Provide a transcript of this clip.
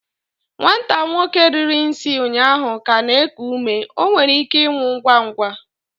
nwata nwoke riri nsi ụnyaahụ ka na-eku ume, o nwere ike ịnwụ ngwa ngwa